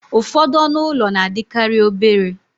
ụfọdụ ọnụ ụlọ na-adịkarị obere